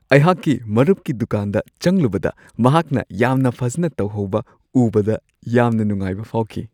ꯑꯩꯍꯥꯛꯀꯤ ꯃꯔꯨꯞꯀꯤ ꯗꯨꯀꯥꯟꯗ ꯆꯪꯂꯨꯕꯗ ꯃꯍꯥꯛꯅ ꯌꯥꯝꯅ ꯐꯖꯅ ꯇꯧꯍꯧꯕ ꯎꯕꯗ ꯌꯥꯝꯅ ꯅꯨꯡꯉꯥꯏꯕ ꯐꯥꯎꯈꯤ ꯫